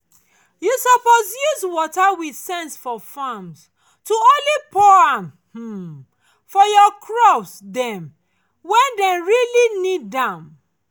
you suppose use water with sense for farms to only pour am um for your crops um dem when dem really need need am